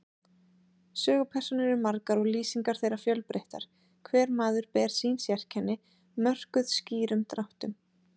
Sögupersónur eru margar og lýsingar þeirra fjölbreyttar, hver maður ber sín sérkenni, mörkuð skýrum dráttum.